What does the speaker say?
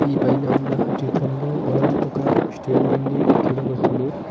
ఈ పైన ఉన్న చిత్రంలో మనం ఒక స్టేడియం ని చూడవచ్చును.